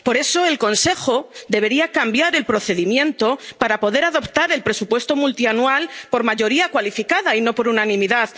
en Europa. Por eso, el Consejo debería cambiar el procedimiento para poder adoptar el presupuesto multianual por mayoría cualificada y no por